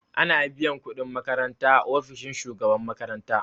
Ana biyan kuɗin makaranta a ofishin shugaban makaranta